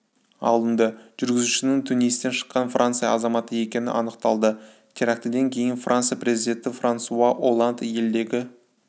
алынды жүргізушінің тунистен шыққан франция азаматы екені анықталды терактіден кейін франция президенті франсуа олланд елдегі